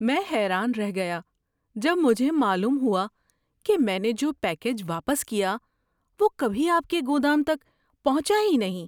میں حیران رہ گیا جب مجھے معلوم ہوا کہ میں نے جو پیکیج واپس کیا وہ کبھی آپ کے گودام تک پہنچا ہی نہیں!